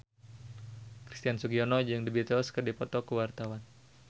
Christian Sugiono jeung The Beatles keur dipoto ku wartawan